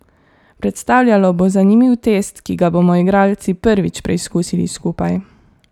Predstavljalo bo zanimiv test, ki ga bomo igralci prvič preizkusili skupaj.